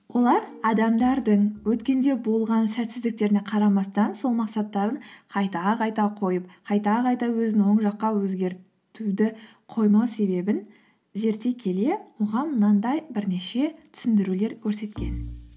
олар адамдардың өткенде болған сәтсіздіктеріне қарамастан сол мақсаттарын қайта қайта қойып қайта қайта өзінің оң жаққа өзгертуді қоймау себебін зерттей келе оған мынандай бірнеше түсіндірулер көрсеткен